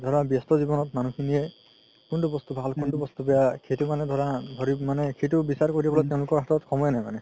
ধৰা ব্যস্ত জিৱনত মানুহ খিনিয়ে কুন্তু বস্তু ভাল কুন্তু বস্তু বেয়া সেইটো মানে ধৰা মানে তেওলোকৰ হাতত সময় নাই মানে